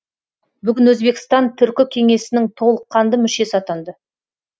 бүгін өзбекстан түркі кеңесінің толыққанды мүшесі атанды